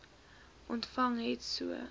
ontvang het so